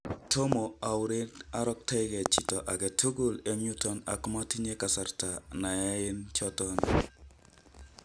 Tomo aureren aroktoekee chito agetukul en yuton ako matinye kasarta nekyaen choton.